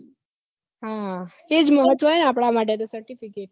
હા તે જ મહત્વ હે આપડા માટે certificate